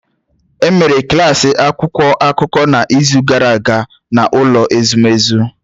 E mere klas akwụkwọ akụkọ n’izu gara aga n’ụlọ ezumezu